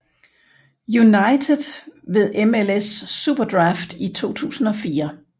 United ved MLS SuperDraft i 2004